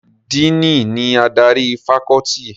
Díìnì ni adarí fakọ́ọ́tì.